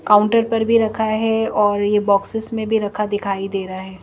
Counter पर भी रखा है और ये बॉक्सेस में भी रखा दिखाई दे रहा है।